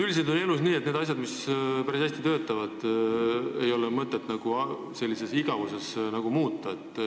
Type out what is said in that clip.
Üldiselt on elus nii, et neid asju, mis päris hästi töötavad, ei ole mõtet igavuse pärast muuta.